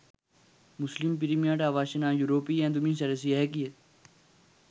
මුස්ලිම් පිරිමියාට අවශ්‍ය නම් යුරෝපීය ඇඳුමින් සැරසිය හැකිය.